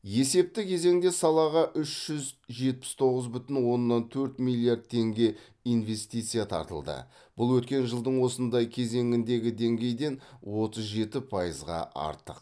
есепті кезеңде салаға үш жүз жетпіс тоғыз бүтін оннан төрт миллиард теңге инвестиция тартылды бұл өткен жылдың осындай кезеңіндегі деңгейден отыз жеті пайызға артық